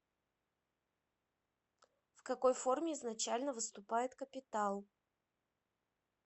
в какой форме изначально выступает капитал